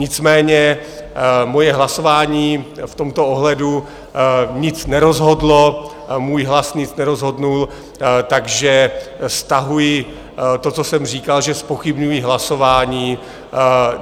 Nicméně moje hlasování v tomto ohledu nic nerozhodlo, můj hlas nic nerozhodl, takže stahuji to, co jsem říkal, že zpochybňuji hlasování.